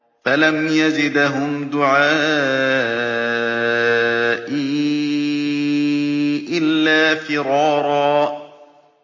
فَلَمْ يَزِدْهُمْ دُعَائِي إِلَّا فِرَارًا